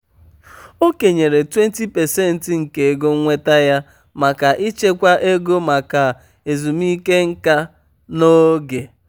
o kenyere 20% nke ego nnweta ya maka ịchekwa ego maka ezumike nká n'oge.